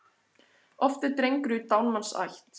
Oft er drengur í dánumanns ætt.